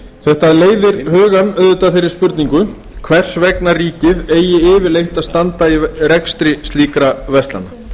þetta leiðir hugann auðvitað að þeirri spurningu hvers vegna ríkið eigi yfirleitt að standa í rekstri slíkra verslana